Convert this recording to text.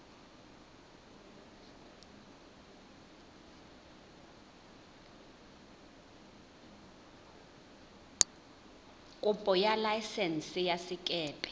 kopo ya laesense ya sekepe